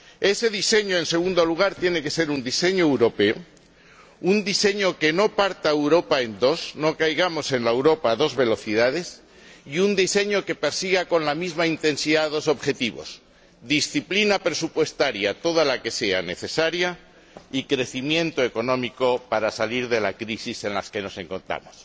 Ese diseño, en segundo lugar, tiene que ser un diseño europeo, un diseño que no parta Europa en dos no caigamos en la Europa a dos velocidades y un diseño que persiga con la misma intensidad dos objetivos disciplina presupuestaria toda la que sea necesaria y crecimiento económico para salir de la crisis en la que nos encontramos.